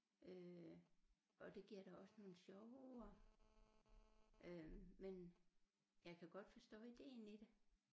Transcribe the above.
Øh og det giver da også nogle sjove ord øh men jeg kan godt forstå ideen i det